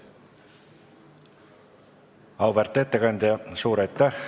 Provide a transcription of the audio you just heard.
Auväärt ettekandja, suur aitäh!